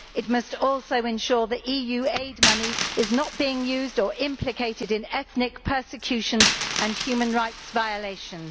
It must also ensure the EU aid money is not being used or implicated in ethnic persecution and human rights violations.